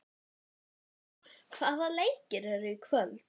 Sigdór, hvaða leikir eru í kvöld?